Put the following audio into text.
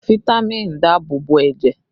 Fitami k ń dáàbò bo ẹ̀jẹ̀